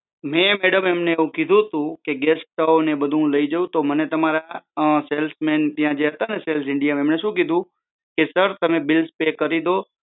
મેં મેડમ એમને કીધું હતું કે ગેસ સ્ટોવ અને બધું લઇ જાઉં તો ત્યાં તમારા સેલ્સ મેનેજર ત્યાં જે હતા ને સેલ્સમેન જે હતા ને સેલ્સ ઇન્ડિયાના એમણે શું કીધું કે સર તમે બિલ્સ પે કરી દો